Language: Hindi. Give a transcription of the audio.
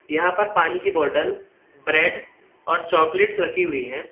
यहां पर पानी की बॉटल ब्रेड और चॉकलेट्स रखी हुई हैं।